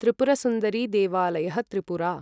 त्रिपुरसुन्दरिदेवालयः Tripura